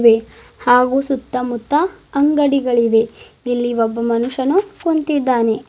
ವೆ ಹಾಗೂ ಸುತ್ತ ಮುತ್ತ ಅಂಗಡಿಗಳಿವೆ ಇಲ್ಲಿ ಒಬ್ಬ ಮನುಷ್ಯನು ಕುಂತಿದ್ದಾನೆ.